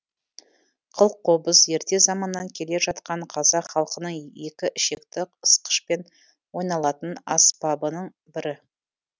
қылқобыз ерте заманнан келе жатқан қазақ халқының екі ішекті ысқышпен ойналатын аспабының бірі